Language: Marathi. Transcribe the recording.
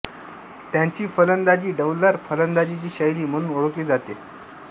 त्यांची फलंदाजी डौलदार फलंदाजीची शैली म्हणून ओळखली जाते